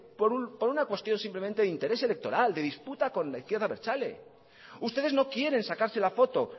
por una cuestión simplemente de interés electoral de disputa con la izquierda abertzale ustedes no quieren sacarse la foto